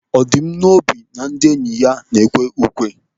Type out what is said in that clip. Ọ dị m n'obi na ndị enyi ya na-ekwe ukwe.